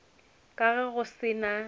ka ge go se na